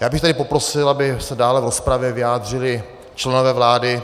Já bych tady poprosil, aby se dále v rozpravě vyjádřili členové vlády.